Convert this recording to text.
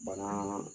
Banaa